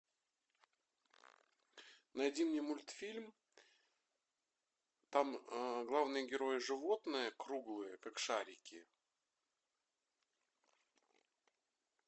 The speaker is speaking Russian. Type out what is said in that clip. найди мне мультфильм там главные герои животные круглые как шарики